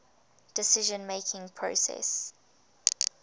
decision making process